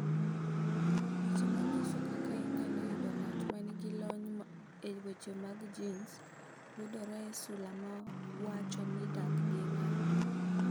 "Weche ma nyiso kaka inyalo yudo ng’at ma nigi lony e weche mag genes yudore e sula ma wacho ni Dak gi ng’ato."